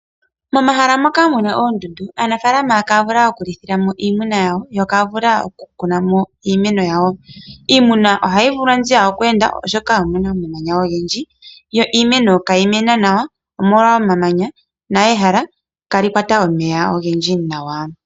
Momahala moka muna oondundu aanafaalama ihaya vulu okulithilamo iimuna yawo nokukunamo iimeno yawo. Iimuna ohayi vulwa nziya okweenda oshoka omuna omamanya ogendji . Iimeno ihayi vulu okumena nawa oshoka ihayi kwata omeya ogendji niimeno ihayi mene nawa molwa omeya ogendji.